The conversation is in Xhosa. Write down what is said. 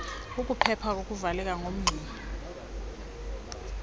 kukuphepha ukuvaleka komngxuma